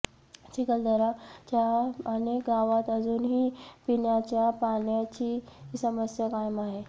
चिखलदरा च्या अनेक गावात अजूनही पिण्याच्या पाण्याची समस्या कायम आहे